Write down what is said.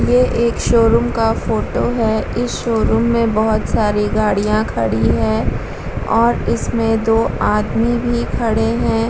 ये एक शोरूम का फोटो है इस शोरूम में बोहोत सारी गाड़ियाँ खड़ी हैं और इसमें दो आदमी भी खड़े हैं।